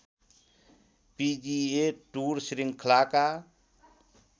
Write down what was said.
पिजिए tour श्रृङ्खलाका